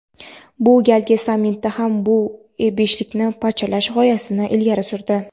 bu galgi sammitda ham bu beshlikni "parchalash" g‘oyasini ilgari surdi.